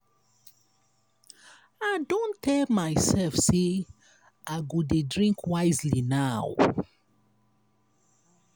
i don tell myself say i go dey drink wisely now.